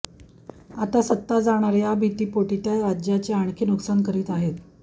आता सत्ता जाणार या भीतीपोटी त्या राज्याचे आणखी नुकसान करीत आहेत